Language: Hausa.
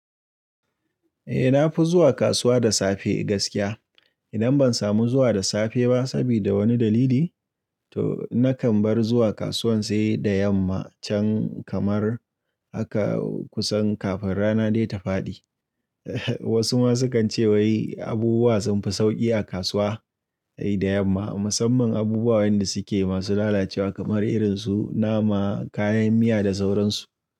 Eh na fi zuwa kasuwa da safe gaskiya. Idan ban samu zuwa da safe ba sabida wani dalili, toh nakan bar zuwa kasuwan sai da yamma, can kamar haka kusan kafe rana dai ta fadi. Wasu ma sukan ce wai abubuwa sun fi sauƙi a kasuwa dai da yamma, musamman abubuwan da suke masu lalacewa kamar irin su nama, kayan miya da sauran su.